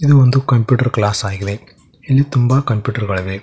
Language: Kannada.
ಇದು ಒಂದು ಕಂಪ್ಯೂಟರ್ ಕ್ಲಾಸ್ ಆಗಿವೆ ಇಲ್ಲಿ ತುಂಬಾ ಕಂಪ್ಯೂಟರ್ ಗಳಿವೆ.